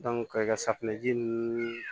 ka safunɛji ninnu